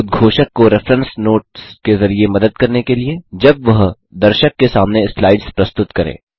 उद्घोषक को reference notes के ज़रिये मदद करने के लिए जब वह दर्शक के सामने स्लाइड्स प्रस्तुत करे